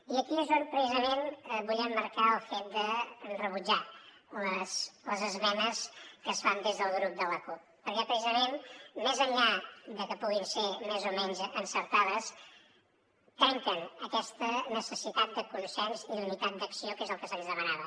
i aquí és on precisament vull emmarcar el fet de rebutjar les esmenes que es fan des del subgrup de la cup perquè més enllà de que puguin ser més o menys encertades trenquen aquesta necessitat de consens i d’unitat d’acció que és el que se’ns demanava